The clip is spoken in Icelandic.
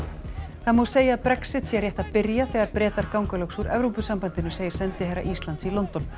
það má segja að Brexit sé rétt að byrja þegar Bretar ganga loks úr Evrópusambandinu segir sendiherra Íslands í London